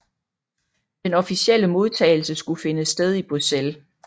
Den officielle modtagelse skulle finde sted i Bruxelles